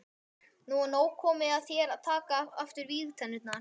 Nú er komið að þér að taka aftur vígtennurnar.